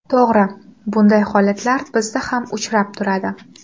To‘g‘ri, bunday holatlar bizda ham uchrab turadi.